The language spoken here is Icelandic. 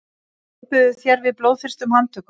ofbýður þér við blóðþyrstum handtökum